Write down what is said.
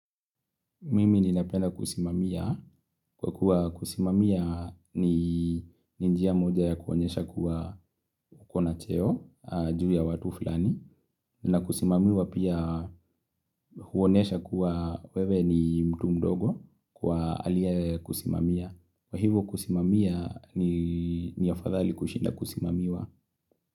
Mimi ninapenda kusimamia. Kwa kuwa kusimamia ni ni njia moja ya kuonyesha kuwa uko na cheo juu ya watu fulani. Na kusimamiwa pia huonesha kuwa wewe ni mtu mdogo kwa aliyekusimamia. Kwa hivyo kusimamia ni afadhali kushinda kusimamiwa.